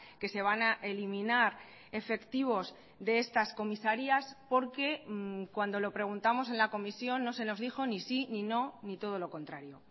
que se van a eliminar efectivos de estas comisarías porque cuando lo preguntamos en la comisión no se nos dijo ni sí ni no ni todo lo contrario